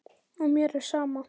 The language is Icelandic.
Og mér er sama.